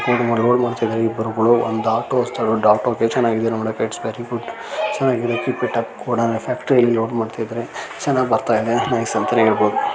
Load ಮಾಡ್ತಾ ಇದ್ದಾರೆ ಇಬ್ಬರೂ ಕೂಡ ಒಂದ್ ಆಟೋ ಗೆ ಆಟೋ ಎಷ್ಟ್ ಚೆನ್ನಾಗಿದೆ ನೋಡೋಕೆ ಇಟ್ಸ್ ವೆರಿ ಗುಡ್ ಚೆನ್ನಾಗಿದೆ keep it up godown factory ಇಲ್ಲಿ ಲೋಡ್ ಮಾಡ್ತಾ ಇದ್ದಾರೆ ಚೆನ್ನಾಗ್ ಬರ್ತಾ ಇದೆ ನೈಸ್ ಅಂತಾನೆ ಹೇಳ್ಬಹುದು.